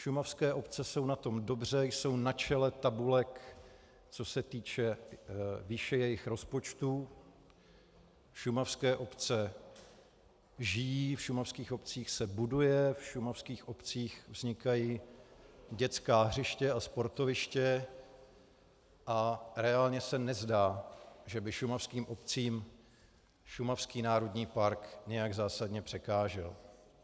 Šumavské obce jsou na tom dobře, jsou na čele tabulek, co se týče výše jejich rozpočtů, šumavské obce žijí, v šumavských obcích se buduje, v šumavských obcích vznikají dětská hřiště a sportoviště a reálně se nezdá, že by šumavským obcím šumavský národní park nějak zásadně překážel.